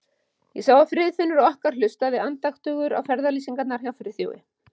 Ég sá að Friðfinnur okkar hlustar andaktugur á ferðalýsingarnar hjá Friðþjófi.